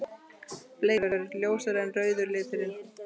Bleikur: Ljósari en rauði liturinn.